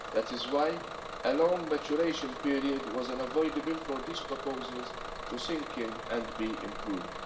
That is why a long maturation period was unavoidable for these proposals to sink in and be improved.